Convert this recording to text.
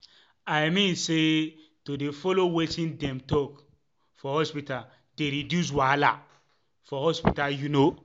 i mean say to dey follow wetin dem talk for hospita dey reduce wahala for hospital u know?